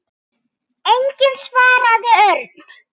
Enginn svaraði Örn.